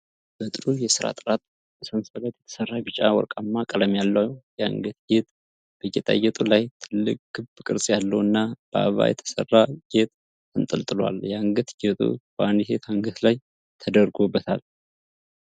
በጥሩ የሥራ ጥራት በሰንሰለት የተሠራ፣ ቢጫ ወርቃማ ቀለም ያለው የአንገት ጌጥ ። በጌጣጌጡ ላይ ትልቅ ክብ ቅርጽ ያለው እና በአበባ የተሠራ ጌጥ ተንጠልጥሏል። የአንገት ጌጡ በአንዲት ሴት አንገት ላይ ተደርጎበታል ።